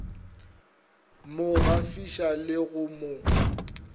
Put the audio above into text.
mo gafiša le go mo